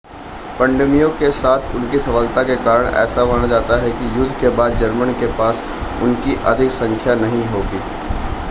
पनडुब्बियों के साथ उनकी सफलता के कारण ऐसा माना जाता है कि युद्ध के बाद जर्मन के पास उनकी अधिक संख्या नहीं होगी